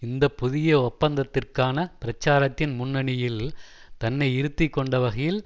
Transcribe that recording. இந்த புதிய ஒப்பந்தத்திற்கான பிரச்சாரத்தின் முன்னணியில் தன்னை இருத்தி கொண்ட வகையில்